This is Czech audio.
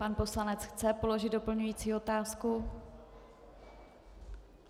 Pan poslanec chce položit doplňující otázku.